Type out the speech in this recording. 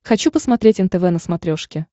хочу посмотреть нтв на смотрешке